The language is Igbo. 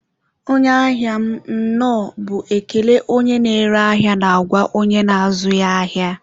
onye ahia m, nnọọ bụ ekele onye na-ere ahịa na-agwa onye na-azụ ya ahịa.